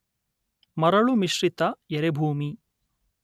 ಮರಳು ಮಿಶ್ರಿತ ಎರೆಭೂಮಿ